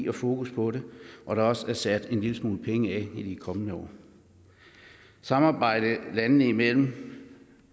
har fokus på det og der er også sat en lille smule penge af til det i de kommende år samarbejdet landene imellem